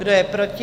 Kdo je proti?